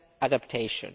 and adaptation.